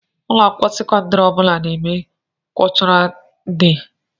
Ụlọakwụkwọ sekondari ọbula na-eme kultural dei.